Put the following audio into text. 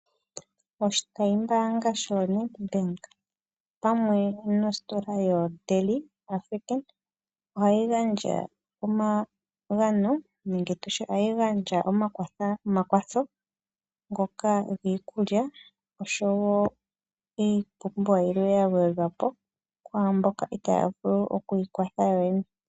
Oshitayi mbaanga shoNEDBANK opamwe nositola yoDeli African ohayi gandja omagano nenge tutye ohayi gandja omakwatho ngoka giikulya oshowo iipumbiwa yilwe ya gwedhwa po kwaamboka itaya vulu oku ikwatha yoyene.